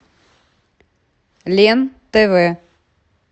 лен тв